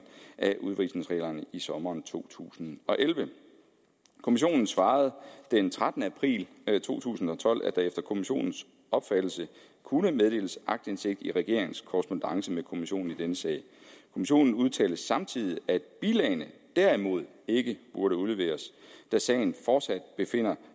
af udvisningsreglerne i sommeren to tusind og elleve kommissionen svarede den trettende april to tusind og tolv at der efter kommissionens opfattelse kunne meddeles aktindsigt i regeringens korrespondance med kommissionen i denne sag kommissionen udtalte samtidig at bilagene derimod ikke burde udleveres da sagen fortsat befinder